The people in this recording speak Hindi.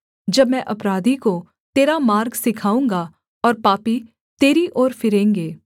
जब मैं अपराधी को तेरा मार्ग सिखाऊँगा और पापी तेरी ओर फिरेंगे